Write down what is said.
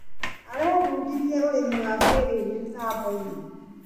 Arebundithirie ũrĩmi wa kĩrĩu mĩtamboinĩ.